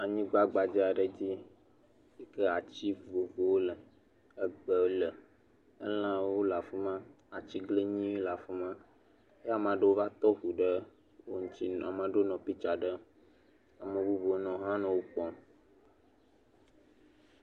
Anyigba gbadza aɖe dzi yi ke ati vovovowo le, egbe le. Elãwo le afi ma. Atiglinyi le afi ma eye ame aɖewo va to eŋu ɖe wo ŋuti nɔ ame aɖewo nɔ pitsa ɖem. Ame bubuwo nɔ hã nɔ wo kpɔm